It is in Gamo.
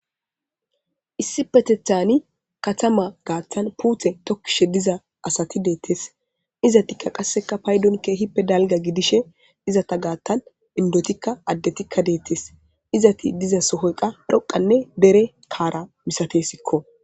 issipetethani katama gaattan puuthe tokkishe diza asati deettes izatikka qasseka paydon keehippe dalga gidishe izata gaattan indotikka addetikka deettes izati diza sohoyqa dhoqanne dere kaara misatesikko